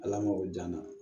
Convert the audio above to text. Ala ma o dan na